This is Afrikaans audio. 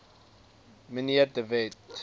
mnr de wet